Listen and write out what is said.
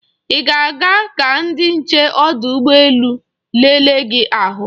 Ị ga-aga ka ndị nche ọdụ ụgbọ elu lelee gị ahụ.